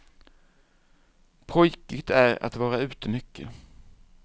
Pojkigt är att vara ute mycket.